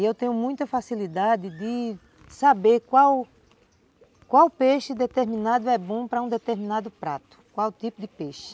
E eu tenho muita facilidade de saber qual qual peixe determinado é bom para um determinado prato, qual tipo de peixe.